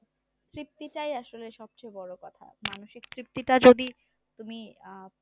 তৃপ্তিটাই আসলে সবচেয়ে বড়ো কথা মানসিক তৃপ্তিটা যদি তুমি আহ